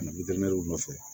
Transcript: nɔfɛ